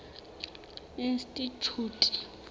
institjhute